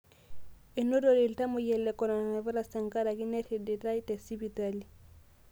Enaurate ltamoyia le koronavirus tenkaraki nerriditai te sipitali